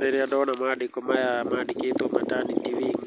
Rĩrĩa ndona maandĩko maya mandĩkĩtwo Maternity Wing